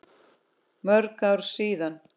Mörg ár síðan.